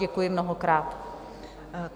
Děkuji mnohokrát.